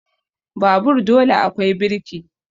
Babur dole akwai birki